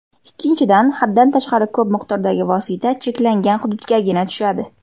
Ikkinchidan, haddan tashqari ko‘p miqdordagi vosita cheklangan hududgagina tushadi.